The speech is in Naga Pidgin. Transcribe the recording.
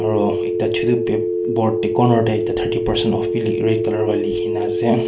aro ekta chotu pep board tey corner tey ekta thirty percent off wi likh red color wa likhina ase.